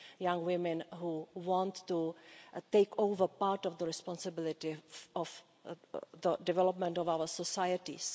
young women who want to take over part of the responsibility of the development of our societies.